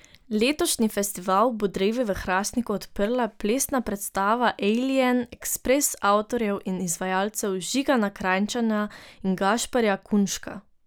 Letošnji festival bo drevi v Hrastniku odprla plesna predstava Ejlijen ekspres avtorjev in izvajalcev Žigana Krajnčana in Gašperja Kunška.